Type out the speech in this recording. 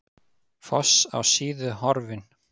Foss á Síðu horfinn